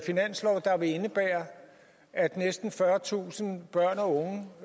finanslov der vil indebære at næsten fyrretusind børn og